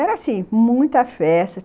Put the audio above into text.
Era assim, muita festa.